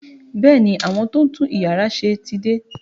Bẹẹ ni, àwọn tó ń tún yàrá ṣe ti dé